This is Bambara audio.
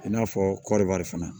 I n'a fɔ kɔriwari fana